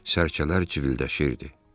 Sərçələr civildəşirdi.